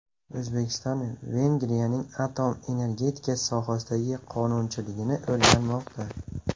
O‘zbekiston Vengriyaning atom energetikasi sohasidagi qonunchiligini o‘rganmoqda.